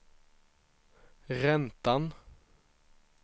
räntan